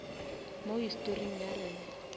mo historing ya rena